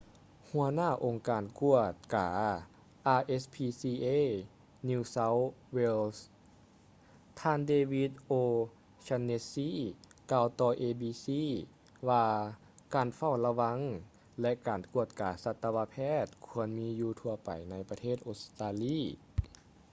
ຫົວໜ້າອົງການກວດກາ rspca new south wales ທ່ານ david o'shannessy ກ່າວຕໍ່ abc ວ່າການເຝົ້າລະວັງ ແລະ ການກວດກາສັດຕະວະແພດຄວນມີຢູ່ທົ່ວໄປໃນປະເທດອົດສະຕາລີ